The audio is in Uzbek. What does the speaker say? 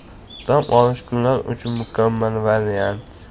Dam olish kunlari uchun mukammal variant.